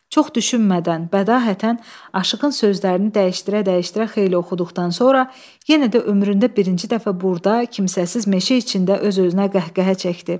Çox düşünmədən, bədahətən Aşıqın sözlərini dəyişdirə-dəyişdirə xeyli oxuduqdan sonra yenə də ömründə birinci dəfə burada kimsəsiz meşə içində öz-özünə qəhqəhə çəkdi.